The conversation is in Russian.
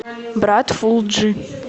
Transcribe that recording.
брат фул джи